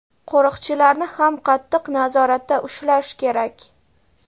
qo‘riqchilarni ham qattiq nazoratda ushlash kerak.